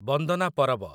ବନ୍ଦନା ପରବ